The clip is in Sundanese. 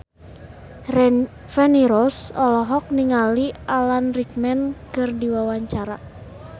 Feni Rose olohok ningali Alan Rickman keur diwawancara